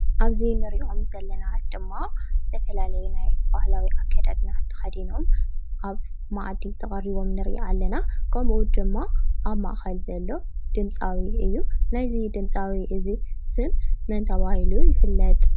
ኣብ እዚ ንሪኦም ዘለና ድማ ዝተፈላለዩ ናይ ባህላዊ ኣከዳድና ተከዲኖም ኣብ መኣዲ ተቀሪቦም ንርኢ ኣለና ከምኡ ድማ ኣብ ማእኸል ዘሎ ድምፃዊ እዩ ።ናይዚ ድምፃዊ ስም መን ተባሂሉ ይፍለጥ ?